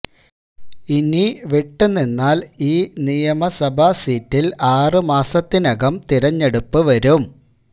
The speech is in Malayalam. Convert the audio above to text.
ഇനി വിട്ടു നിന്നാൽ ഈ നിയമസഭാ സീറ്റിൽ ആറുമാസത്തിനകം തെരഞ്ഞെടുപ്പ് വരും